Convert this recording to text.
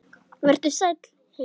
Vertu sæll, heimur.